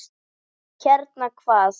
Hérna, hvað?